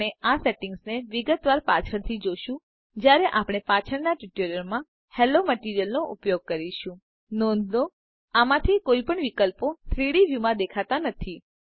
આપણે આ સેટિંગ્સને વિગતવાર પાછળથી જોશું જયારે આપણે પાછળના ટ્યુટોરિયલ્સ માં હેલો મટીરીઅલનો ઉપયોગ કરીશું નોંધ લો આમાંથી કોઈપણ વિકલ્પો 3ડી વ્યુમાં દેખાતા નથી